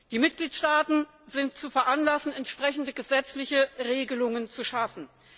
Die Mitgliedstaaten sind zu veranlassen, entsprechende gesetzliche Regelungen zu schaffen.